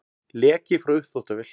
Leki frá uppþvottavél